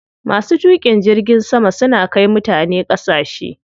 Masu tuƙin jirgin sama suna kai mutane ƙasashe.